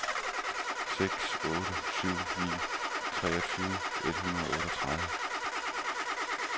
seks otte syv ni treogtyve et hundrede og otteogtredive